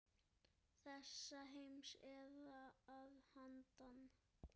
Þessa heims eða að handan.